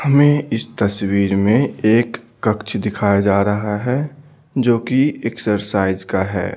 हमें इस तस्वीर में एक कक्ष दिखाया जा रहा है जो कि एक्सरसाइज का है।